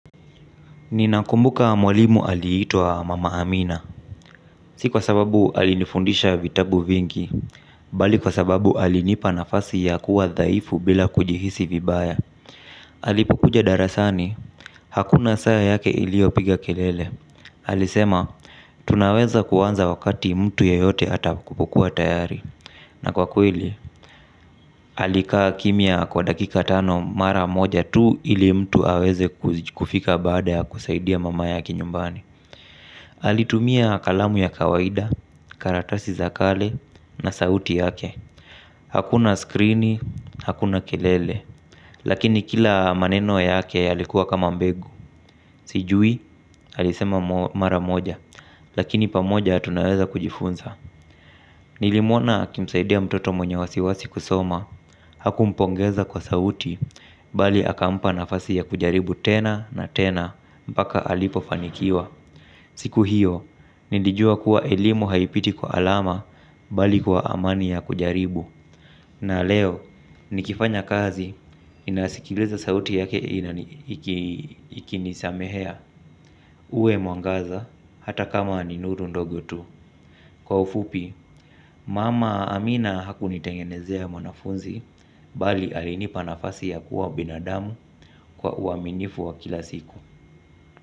Ninakumbuka mwalimu aliitwa mama Amina. Si kwa sababu alinifundisha vitabu vingi. Bali kwa sababu alinipa nafasi ya kuwa dhaifu bila kujihisi vibaya. Alipokuja darasani. Hakuna saa yake iliyopiga kelele. Alisema tunaweza kuanza wakati mtu yeyote atakapokuwa tayari. Na kwa kweli, alikaa kimya kwa dakika tano mara moja tu ili mtu aweze kufika baada ya kusaidia mama yake nyumbani. Alitumia kalamu ya kawaida, karatasi za kale na sauti yake. Hakuna skrini, hakuna kelele. Lakini kila maneno yake alikuwa kama mbegu. Sijui alisema mara moja. Lakini pamoja tunaweza kujifunza. Nilimwona akimsaidia mtoto mwenye wasiwasi kusoma. Hakumpongeza kwa sauti. Bali akampa nafasi ya kujaribu tena na tena. Mpaka alipofanikiwa. Siku hiyo, nilijua kuwa elimu haipiti kwa alama bali kwa amani ya kujaribu. Na leo, nikifanya kazi, ninasikiliza sauti yake ikinisamehea uwe mwangaza hata kama ni nuru ndogo tu. Kwa ufupi, mama amina hakunitengenezea mwanafunzi, bali alinipa nafasi ya kuwa binadamu kwa uaminifu wa kila siku.